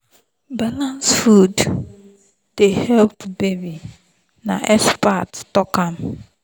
balanced food dey help baby na expert talk am.